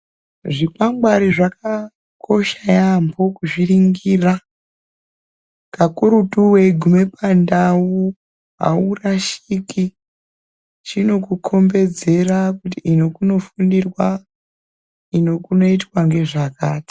Zvikwangwari zvakakosha yamho kuzviningira kakurutu weiguma pandau aurashiki chinokukombedzera kuti ino kunofundirwa ino kunoitwa ngezvakati.